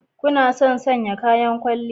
Kuna son sanya kayan kwalliya